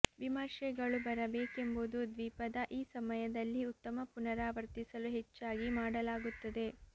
ವಿಮರ್ಶೆಗಳು ಬರಬೇಕೆಂಬುದು ದ್ವೀಪದ ಈ ಸಮಯದಲ್ಲಿ ಉತ್ತಮ ಪುನರಾವರ್ತಿಸಲು ಹೆಚ್ಚಾಗಿ ಮಾಡಲಾಗುತ್ತದೆ